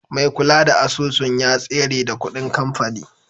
Mai kula da asusun ya tsere da kuɗin kamfani.